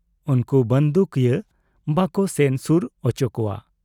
ᱩᱱᱠᱩ ᱵᱟᱺᱫᱩᱠᱤᱭᱟᱹ ᱵᱟᱠᱚ ᱥᱮᱱ ᱥᱩᱨ ᱚᱪᱚ ᱠᱚᱣᱟ ᱾